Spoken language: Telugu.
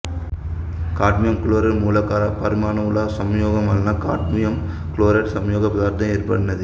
కాడ్మియం క్లోరిన్ మూలకాలపరమాణువుల సంయోగం వలన కాడ్మియం క్లోరైడ్ సంయోగ పదార్థం ఏర్పడినది